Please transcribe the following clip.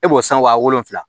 E b'o san wa wolonwula